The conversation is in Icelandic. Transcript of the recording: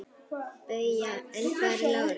BAUJA: En hvar er Lárus?